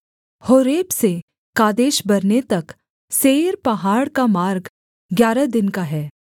Horeb से Kadesh Barnea तक Seir पहाड़ का मार्ग ग्यारह दिन का है